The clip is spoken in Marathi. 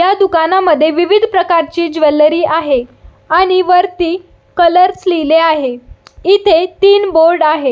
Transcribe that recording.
ह्या दुकानामध्ये विविध प्रकारची ज्वेलरी आहे आणि वरती कलर्स लिहले आहे इथे तीन बोर्ड आहे.